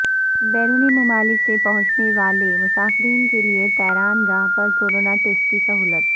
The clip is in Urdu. بیرونی ممالک سے پہونچنے و الے مسافرین کیلئے طیرانگاہ پر کورونا ٹسٹ کی سہولت